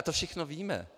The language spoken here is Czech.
A to všechno víme.